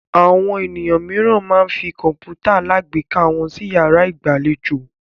Àwọn ènìyàn mìíràn máa ń fi kọ̀ǹpútà alágbèéká wọn sí ìyàrá ìgbàlejò.